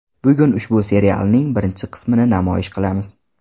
Bugun ushbu serialning birinchi qismini namoyish qilamiz.